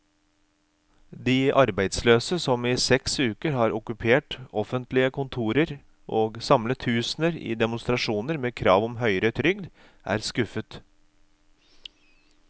De arbeidsløse, som i seks uker har okkupert offentlige kontorer og samlet tusener i demonstrasjoner med krav om høyere trygd, er skuffet.